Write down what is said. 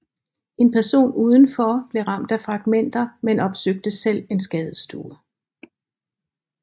En person udenfor blev ramt af fragmenter men opsøgte selv en skadestue